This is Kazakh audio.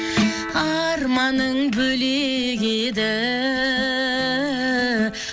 арманың бөлек еді